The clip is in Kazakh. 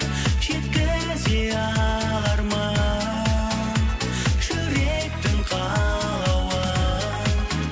жеткізе алармын жүректің қалауын